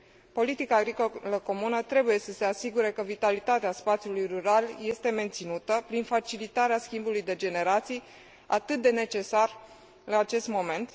Politica agricolă comună trebuie să se asigure că vitalitatea spațiului rural este menținută, prin facilitarea schimbului de generații, atât de necesar în acest moment.